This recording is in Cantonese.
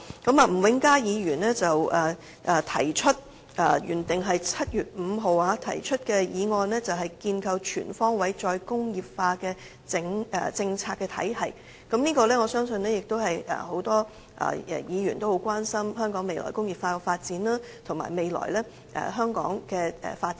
例如，吳永嘉議員提出原訂於7月5日會議上討論的"構建全方位'再工業化'政策體系"議案，我相信很多議員也關心香港未來在"再工業化"方面的發展，以及香港未來的發展。